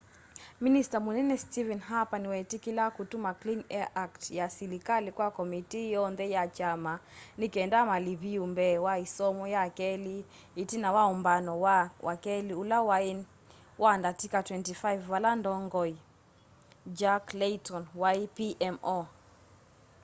minista munene stephen harper niweetikila kutuma clean air act ya silikali kwa komitii yoonthe ya kyama ni kenda maliviu mbee wa isomo ya keli itina wa umbano wa wakeli ula wai wa ndatika 25 vala ndongoi jack layton wai pmo